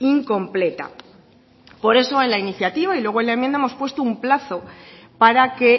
incompleta por eso en la iniciativa y luego en la enmienda hemos puesto un plazo para que